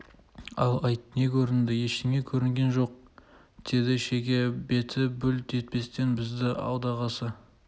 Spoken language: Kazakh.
ал айт не көрінді ештеңе көрінген жоқ деді шеге беті бүлк етпестен бізді алдағысы